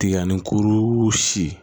Tigani kuru si